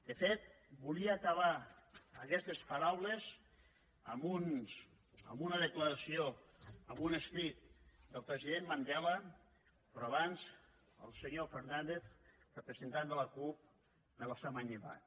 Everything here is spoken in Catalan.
de fet volia acabar aquestes paraules amb una declaració amb un escrit del president mandela però abans el senyor fernàndez representant de la cup me l’ha manllevat